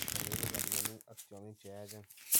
kandoindetap myanwogik ak tyong'ik che yaachen